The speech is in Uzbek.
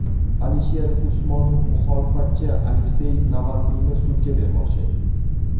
Alisher Usmonov muxolifatchi Aleksey Navalniyni sudga bermoqchi.